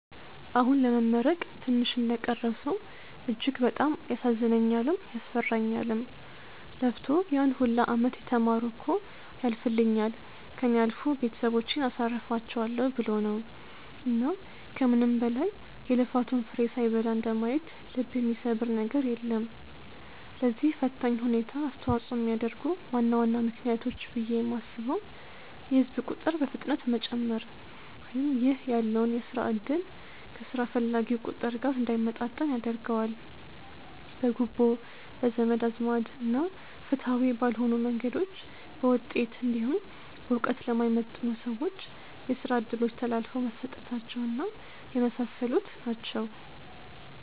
አሁን ለመመረቅ ትንሽ እንደቀረው ሰው እጅግ በጣም ያሳዝነኛልም፤ ያስፈራኛልም። ለፍቶ ያን ሁላ አመት የተማረው እኮ ያልፍልኛል፣ ከእኔ አልፎ ቤተሰቦቼን አሳርፋቸዋለው ብሎ ነው። እና ከምንም በላይ የልፋቱን ፍሬ ሳይበላ እንደማየት ልብ የሚሰብር ነገር የለም። ለዚህ ፈታኝ ሁኔታ አስተዋጽኦ የሚያደርጉ ዋና ዋና ምክንያቶች ብዬ የማስበው የህዝብ ቁጥር በፍጥነት መጨመር ( ይህ ያለውን የስራ እድል ከስራ ፈላጊው ቁጥር ጋር እንዳይመጣጠን ያደርገዋል።) ፣ በጉቦ፣ በዘመድ አዝማድ እና ፍትሃዊ ባልሆኑ መንገዶች በውጤት እንዲሁም በእውቀት ለማይመጥኑ ሰዎች የስራ እድሎች ተላልፈው መሰጠታቸው እና የመሳሰሉት ናቸው።